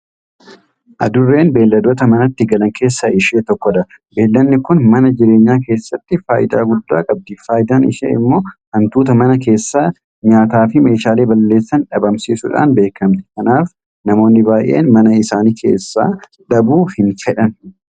Adurreen beelladoota manatti galan keessaa ishee tokkodha. Beellanni kun mana jireenyaa keessatti faayidaa guddaa qabdi. Faayidaan ishee immoo Hantuuta mana keessaa nyaataafi meeshaalee balleessan dhabamsiisuudhaan beekamti. Kanaaf namoonni baay'een mana isaanii keessaa dhabuu hinfedhan.